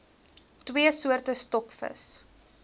twee soorte stokvis